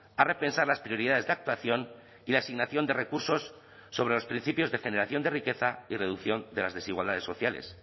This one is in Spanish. a repensar las prioridades de actuación y la asignación de recursos sobre los principios de generación de riqueza y reducción de las desigualdades sociales